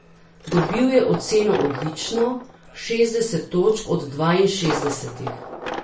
Dobil je oceno odlično, šestdeset točk od dvainšestdesetih.